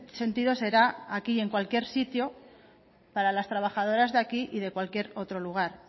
sentido será aquí y en cualquier sitio para las trabajadoras de aquí y de cualquier otro lugar